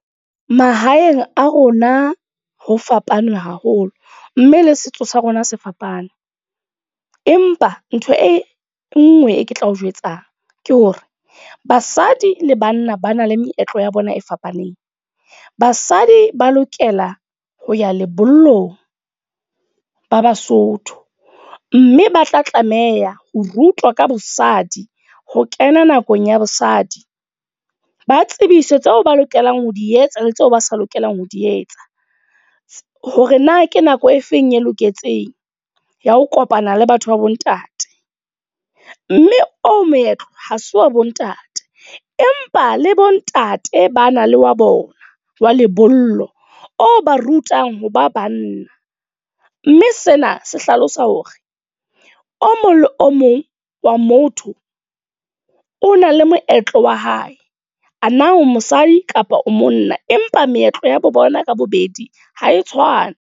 Mahaeng a rona ho fapane haholo. Mme le setso sa rona se fapane. Empa ntho e nngwe e ke tlao jwetsa ke hore, basadi le banna ba na le meetlo ya bona e fapaneng. Basadi ba lokela ho ya lebollong, ba Basotho. Mme ba tla tlameha ho rutwa ka bosadi, ho kena nakong ya bosadi. Ba tsebiswe tseo ba lokelang ho di etsa, le tseo ba sa lokelang ho di etsa. Hore na ke nako e feng e loketseng, ya ho kopana le batho ba bontate. Mme oo moetlo, ha se wa bontate. Empa le bontate ba na le wa bona wa lebollo, o ba rutang ho ba banna. Mme sena se hlalosa hore o mong le o mong wa motho, o na le moetlo wa hae. A na o mosadi kapa o monna. Empa meetlo ya bo bona ka bobedi ha e tshwane.